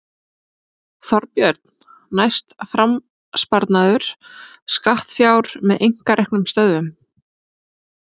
Þorbjörn: Næst fram sparnaður skattfjár með einkareknum stöðvum?